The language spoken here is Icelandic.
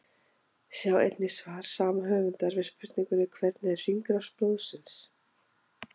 Sjá einnig svar sama höfundar við spurningunni Hvernig er hringrás blóðsins?